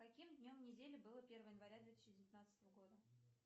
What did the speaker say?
каким днем недели было первое января две тысячи девятнадцатого года